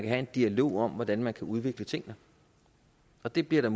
have en dialog om hvordan man udvikle tingene og det bliver der